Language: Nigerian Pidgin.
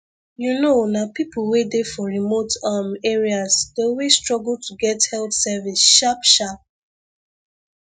you know nah people wey dey for remote um areas dey always struggle to get health service sharpsharp